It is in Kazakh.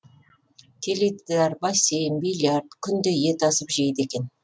теледидар бассейн биллиард күнде ет асып жейді екен